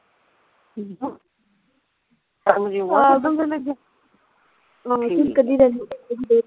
ਠੀਕ ਆ